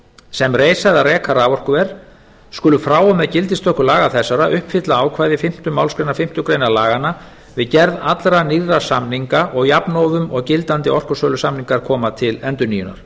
sem reisa eða reka raforkuver skulu frá og með gildistöku laga þessara uppfylla ákvæði fimmtu málsgrein fimmtu grein laganna við gerð allra nýrra samninga og jafnóðum og gildandi orkusölusamningar koma til endurnýjunar